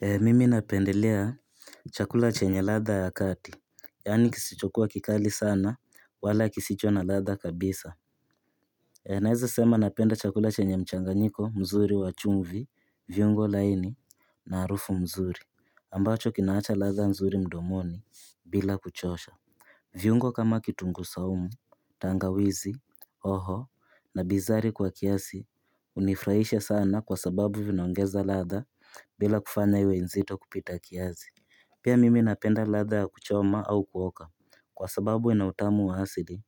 Mimi napendelea chakula chenye latha ya kati, yani kisichokuwa kikali sana wala kisicho na latha kabisa. Naeza sema napenda chakula chenye mchanganyiko mzuri wa chumvi, viungo laini na harufu mzuri ambacho kinaacha latha mzuri mdomoni bila kuchosha. Viungo kama kitungu saumu, tangawizi, hoho na bizari kwa kiasi unifurahisha sana kwa sababu vinaongeza latha bila kufanya iwe nzito kupita kiasi. Pia mimi napenda latha ya kuchoma au kuoka kwa sababu ina utamu wa asili